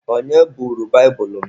Onye buuru baibulu m?